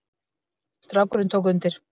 Strákurinn tók undir.